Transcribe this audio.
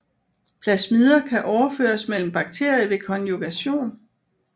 Plasmider kan overføres mellem bakterier ved konjugation